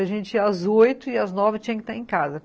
A gente ia às oito e às nove tinha que estar em casa.